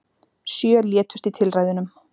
Sjö létust í tilræðunum